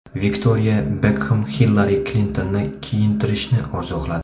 Viktoriya Bekxem Xillari Klintonni kiyintirishni orzu qiladi.